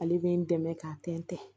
Ale bɛ n dɛmɛ k'a tɛntɛn